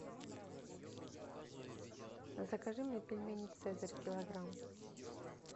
закажи мне пельмени цезарь килограмм